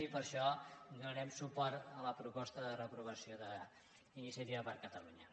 i per això donarem suport a la proposta de reprovació d’iniciativa per catalunya